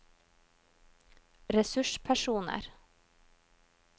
ressurspersoner